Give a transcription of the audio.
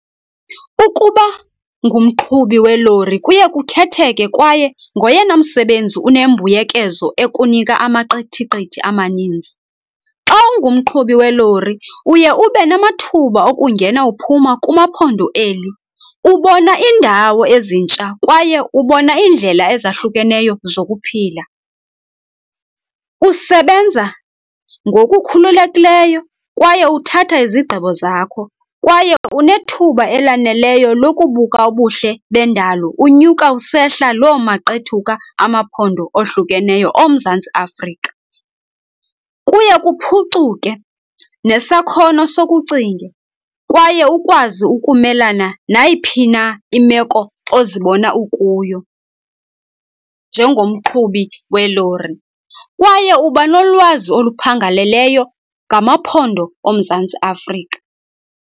Ukuba ngumqhubi welori kuye kukhetheke kwaye ngoyena msebenzi unembuyekezo ekunika amaqithiqithi amaninzi. Xa ungumqhubi welori, uye ube namathuba okungena uphuma kumaphondo eli, ubona iindawo ezintsha kwaye ubona iindlela ezahlukeneyo zokuphila. Usebenza ngokukhululekileyo, kwaye uthatha izigqibo zakho kwaye unethuba elaneleyo lokubuka ubuhle bendalo unyuka usehla loo maqethuka amaphondo ohlukeneyo oMzantsi Afrika. Kuye kuphucuke nesakhono sokucinga kwaye ukwazi ukumelana nayiphi na imeko ozibona ukuyo njengomqhubi welori, kwaye uba nolwazi oluphangaleleyo ngamaphondo oMzantsi Afrika.